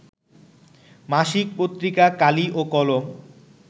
মাসিক পত্রিকা কালি ও কলম